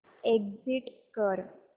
exit कर